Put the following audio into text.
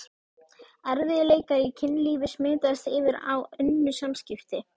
Erfiðleikar í kynlífi smitast yfir á önnur samskipti.